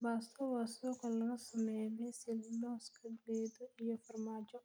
Pesto waa suugo laga sameeyay basil, lawska geed iyo farmaajo.